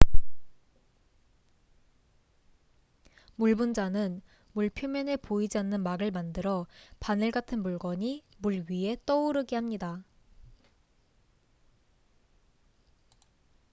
물 분자는 물 표면에 보이지 않는 막을 만들어 바늘 같은 물건이 물 위에 떠오르게 합니다